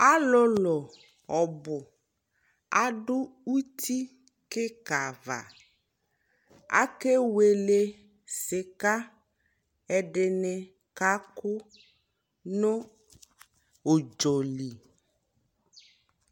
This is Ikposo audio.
alʋlʋ ɔbʋ adʋ ʋti kikaa aɣa, akɛwɛlɛ sika, ɛdini kakʋ nʋ ʋdzɔli